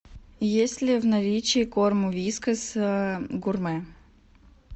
есть ли в наличии корм вискас гурме